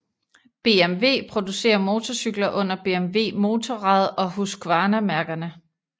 BMW producerer motorcykler under BMW Motorrad og Husqvarna mærkerne